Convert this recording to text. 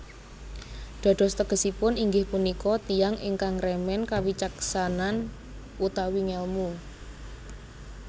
Dados tegesipun inggih punika tiyang ingkang remen kawicaksanan utawi ngèlmu